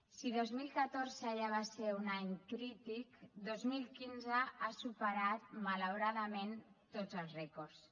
si dos mil catorce va ser ja un any crític dos mil quince ha superat malauradament tots els rècords